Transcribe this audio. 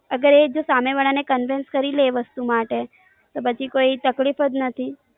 અગર જો એ સામે વાળા ને conveyance કરી લે વસ્તુ માટે તો પછી કોઈ તકલીફ જ નથી.